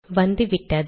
வந்துவிட்டது